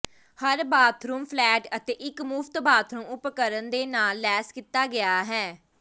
ਹਰ bathroom flat ਅਤੇ ਇਕ ਮੁਫਤ ਬਾਥਰੂਮ ਉਪਕਰਣ ਦੇ ਨਾਲ ਲੈਸ ਕੀਤਾ ਗਿਆ ਹੈ